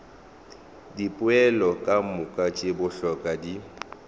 dipoelo kamoka tše bohlokwa di